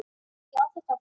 Já, þetta var flott.